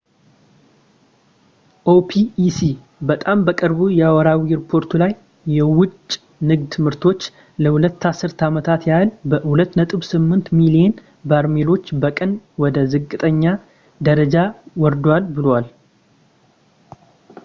ኦፒኢሲ በጣም በቅርቡ የወርሃዊ ሪፖርቱ ላይ የወጭ ንግድ ምርቶች ለሁለት አስርት ዓመታት ያህል በ2.8 ሚሊዮን በርሜሎች በቀን ወደ ዝቅተኛ ደረጃ ወርደዋል ብለዋል